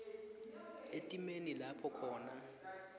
etimeni lapho khona